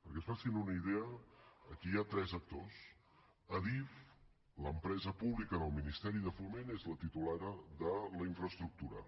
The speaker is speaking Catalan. perquè es facin una idea aquí hi ha tres actors adif l’empresa pública del ministeri de foment és la titular de la infraestructura